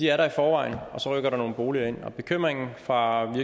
er der i forvejen og så rykker der nogle boliger ind og bekymringen fra